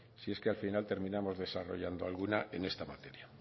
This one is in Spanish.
si es que al final terminamos desarrollando alguna en esta materia